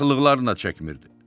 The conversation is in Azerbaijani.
Paxıllıqlarını da çəkmirdi.